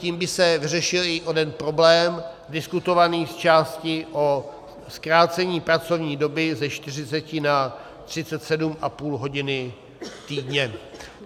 Tím by se vyřešil i onen problém diskutovaný v části o zkrácení pracovní doby ze 40 na 37,5 hodiny týdně.